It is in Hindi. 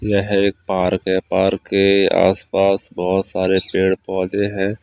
यह एक पार्क है पार्क के आसपास बहुत सारे पेड़ पौधे हैं।